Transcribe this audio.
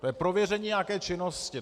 To je prověření nějaké činnosti.